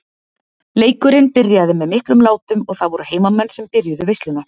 Leikurinn byrjaði með miklum látum og það voru heimamenn sem byrjuðu veisluna.